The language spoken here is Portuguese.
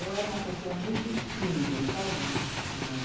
Eu era uma pessoa muito tímida, sabe, Simone?